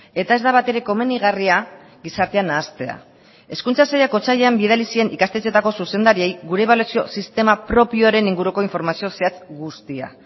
eta ez da batere komenigarria gizartea nahastea hezkuntza sailak otsailean bidali zien ikastetxeetako zuzendariei gure ebaluazio sistema propioaren inguruko informazio zehatz guztia